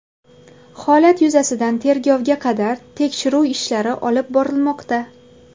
Holat yuzasidan tergovga qadar tekshiruv ishlari olib borilmoqda.